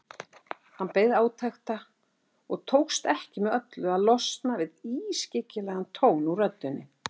Hann beið átekta og tókst ekki með öllu að losna við ískyggilegan tón úr röddinni.